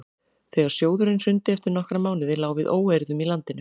þegar sjóðurinn hrundi eftir nokkra mánuði lá við óeirðum í landinu